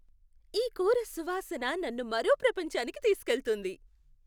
ఈ కూర సువాసన నన్ను మరో ప్రపంచానికి తీసుకువెళ్తుంది.